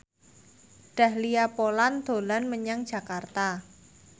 Dahlia Poland dolan menyang Jakarta